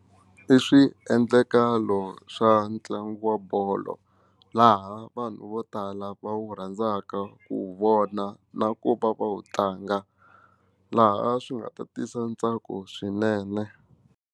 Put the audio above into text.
I swiendlakalo swa ntlangu wa bolo laha vanhu vo tala va wu rhandzaka ku vona na ku va va wu tlanga laha swi nga ta tisa ntsako swinene.